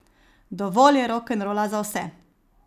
Dovolj je rokenrola za vse.